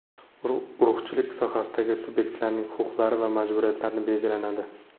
Urug‘chilik sohasidagi subyektlarning huquqlari va majburiyatlarini belgilanadi.